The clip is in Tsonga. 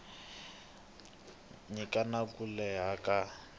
nyika na ku leha ka